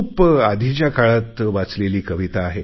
खूप आधीच्या काळात वाचलेली कविता